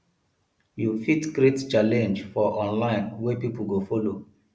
you fit create challenge for online wey pipo go follow